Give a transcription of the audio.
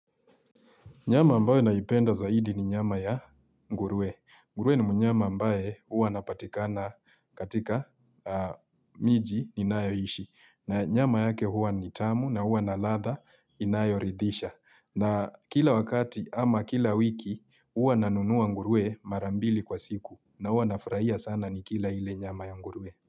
Nyama ambayo naipenda zaidi ni nyama ya nguruwe. Nguruwe ni mnyama ambaye huwa anapatikana katika miji ninayo ishi. Na nyama yake huwa ni tamu na huwa na ladha inayoridhisha. Na kila wakati ama kila wiki huwa nanunua ngurue mara mbili kwa siku na huwa nafurahia sana ni kila ile nyama ya nguruwe.